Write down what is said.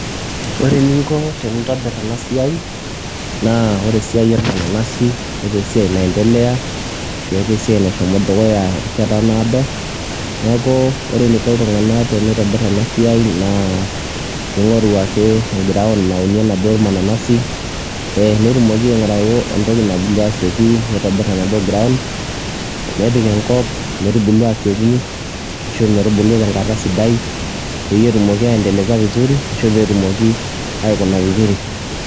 ore eninko tenintobir ena siai naa ore esiai ormananasi netaa esiai naendelea ashu etaa esiai nashomo dukuya erishat naado, neeku ore eneiko iltungan pee eitobir ena siai naa kingoru ake e ground naunie oladuoo mananasi. netumoki aingoru entoki nabulu asioki, nitobir enadoo ground nepik enkop metubulu aasioki ashu metubulu esidai, netumoki aendelesa vizuri ashu pee etumki aikuna vizur.